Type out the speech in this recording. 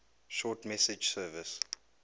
short message service